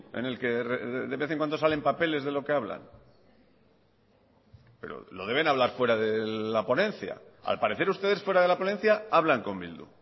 en el que de vez en cuando salen papeles de lo que hablan pero lo deben hablar fuera de la ponencia al parecer ustedes fuera de la ponencia hablan con bildu